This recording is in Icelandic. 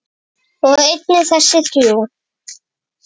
og einnig þessi þrjú